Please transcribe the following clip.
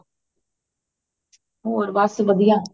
ਹੋਰ ਬੱਸ ਵਧੀਆ